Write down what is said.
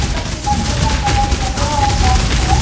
ऊपर के डब्बे का कलर येलो और वाइट है।